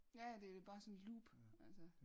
Ja ja det er bare sådan et loop altså